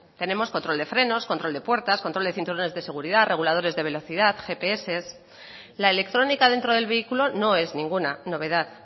tenemos control de frenos control de puertas control de cinturones de seguridad reguladores de velocidad gps la electrónica dentro del vehículo no es ninguna novedad